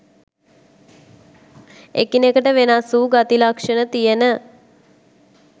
එකිනෙකට වෙනස් වූ ගති ලක්ෂණ තියෙන